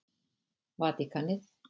Vatíkanið